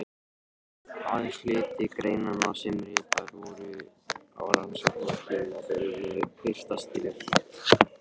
Aðeins hluti greinanna sem ritaðar voru á rannsóknartímabilinu birtast hér.